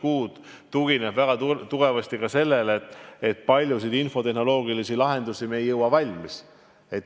See tugineb väga tugevasti ka tõsiasjale, et paljusid infotehnoloogilisi lahendusi ei jõua varem valmis.